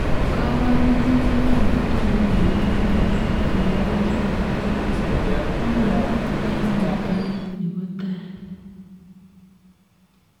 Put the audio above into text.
Kaborunoik kotam kotogu eng' lagwandit ala ko neranet nyoone eng' yeetunet nebo taai